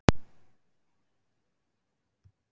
Kolbrún, hneyksluð og sár.